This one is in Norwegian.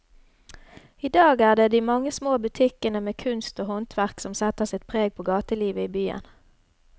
I dag er det de mange små butikkene med kunst og håndverk som setter sitt preg på gatelivet i byen.